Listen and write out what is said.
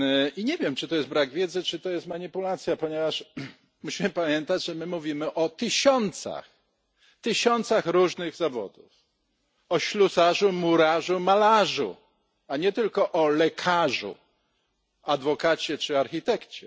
I nie wiem, czy to jest brak wiedzy, czy to jest manipulacja, ponieważ musimy pamiętać, że my mówimy o tysiącach, tysiącach różnych zawodów o ślusarzu, murarzu, malarzu, a nie tylko o lekarzu, adwokacie czy architekcie.